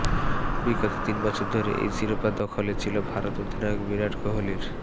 বিগত তিন বছর ধরে এই শিরোপা দখলে ছিল ভারত অধিনায়ক বিরাট কোহলির